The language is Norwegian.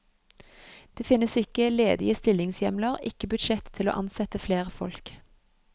Det finnes ikke ledige stillingshjemler, ikke budsjett til å ansette flere folk.